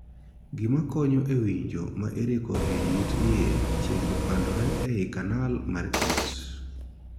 Gima konyo e winjo ma iriko ei it iye chiegni padondore ei 'canal' mar it.